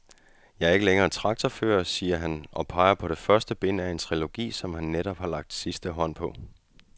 Jeg er ikke længere traktorfører, siger han og peger på første bind af en trilogi, som han netop har lagt sidste hånd på.